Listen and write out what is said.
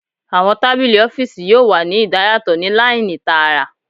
Awọn tabili ọfiisi yoo wa ni idayatọ ni laini taara